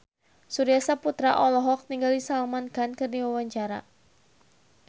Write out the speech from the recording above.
Surya Saputra olohok ningali Salman Khan keur diwawancara